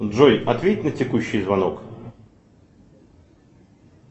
джой ответь на текущий звонок